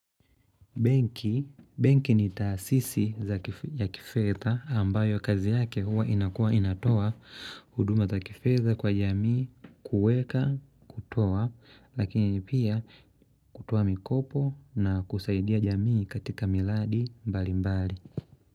Benki ni taasisi ya kifedha ambayo kazi yake huwa inakuwa inatoa huduma za kifedha kwa jamii kuweka kutoa lakini pia kutoa mikopo na kusaidia jamii katika miladi mbali mbali.